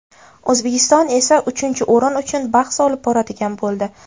O‘zbekiston esa uchinchi o‘rin uchun bahs olib boradigan bo‘ldi.